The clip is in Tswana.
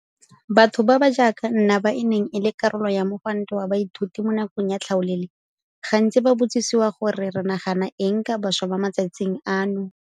Batho ba ba jaaka nna ba e neng e le karolo ya mogwanto wa baithuti mo nakong ya tlhaolele gantsi ba botsisiwa gore re nagana eng ka bašwa ba mo matsatsing ano.